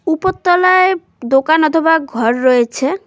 উপর তলায় দোকান অথবা ঘর রয়েছে।